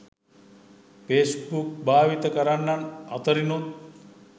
Facebook භාවිත කරන්නන් අතරිනුත්